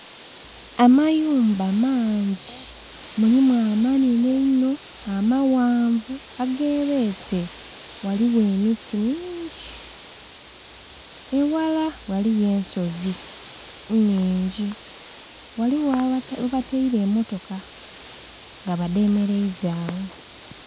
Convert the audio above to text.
Amayumba maangi mulimu amanenhe einho, amaghanvu age beese ghaligho emiti mingi, eghala ghaliyo ensozi nnhingi ghaligho ghe bataire emotoka nga badhemereiza agho.